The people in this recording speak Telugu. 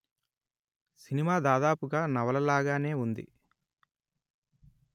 సినిమా దాదాపుగా నవల లాగానే వుంది